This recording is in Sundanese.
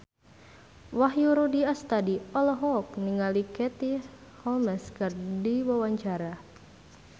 Wahyu Rudi Astadi olohok ningali Katie Holmes keur diwawancara